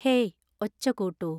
hey ഒച്ച കൂട്ടൂ